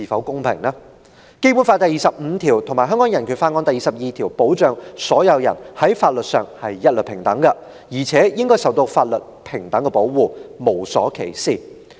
《基本法》第二十五條和《香港人權法案條例》第二十二條保障所有人在法律上一律平等，而且應受到法律平等保護，無所歧視。